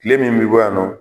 kile min bi bɔ yan nɔ